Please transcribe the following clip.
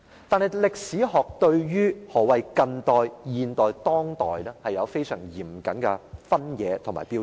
但是，對於何謂近代史、現代史和當代史，歷史學有相當嚴謹的分野和標準。